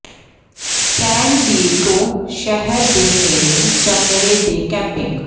ਸੈਨ Diego ਸ਼ਹਿਰ ਦੇ ਨੇੜੇ ਜਾਂ ਨੇੜੇ ਦੇ ਕੈਂਪਿੰਗ